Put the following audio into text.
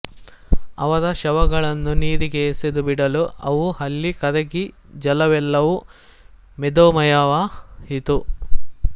ಅವರ ಶವಗಳನ್ನು ನೀರಿಗೆ ಎಸೆದು ಬಿಡಲು ಅವು ಅಲ್ಲಿ ಕರಗಿ ಜಲವೆಲ್ಲವೂ ಮೇದೋಮಯವಾಯಿತು